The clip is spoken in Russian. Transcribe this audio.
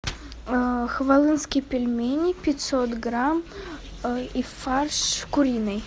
хвалынские пельмени пятьсот грамм и фарш куриный